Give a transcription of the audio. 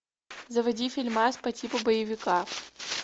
заводи фильмас по типу боевика